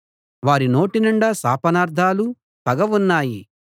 వారి నోటినిండా శాపనార్ధాలు పగ ఉన్నాయి